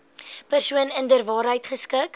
persoon inderwaarheid geskik